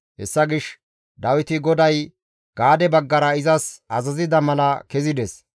Hessa gishshas Dawiti GODAY Gaade baggara izas azazida mala kezides.